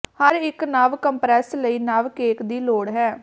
ਹਰ ਇੱਕ ਨਵ ਕੰਪਰੈੱਸ ਲਈ ਨਵ ਕੇਕ ਦੀ ਲੋੜ ਹੈ